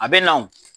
A bɛ na wo